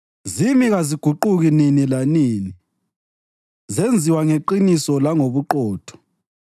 Zimi kaziguquki nini lanini, zenziwa ngeqiniso langobuqotho.